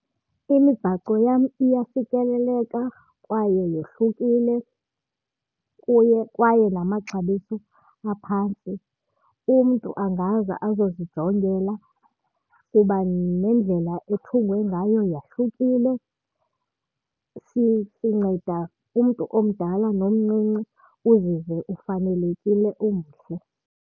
Imibhaco yam iyafikeleleka kwaye yohlukile kuye kwaye namaxabiso aphantsi. Umntu angaza azozijongela kuba nendlela ethungwe ngayo yahlukile. Sinceda umntu omdala nomncinci, uzive ufanelekile umhle.